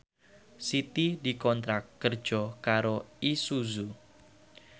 Siti dikontrak kerja karo Isuzu